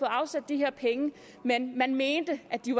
afsat de her penge men man mente at de